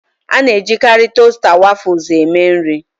A na-ejikarị tosta wafụls eme nri